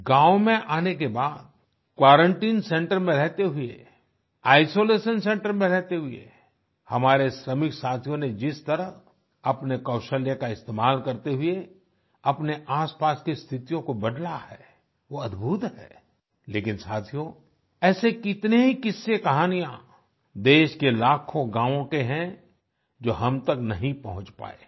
गांव में आने के बाद क्वारंटाइन सेंटर में रहते हुए आइसोलेशन सेंटर में रहते हुए हमारे श्रमिक साथियों ने जिस तरह अपने कौशल्य का इस्तेमाल करते हुए अपने आसपास की स्थितियों को बदला है वो अद्भुत है लेकिन साथियो ऐसे कितने ही किस्से कहानियां देश के लाखों गांव के हैं जो हम तक नहीं पहुंच पाए हैं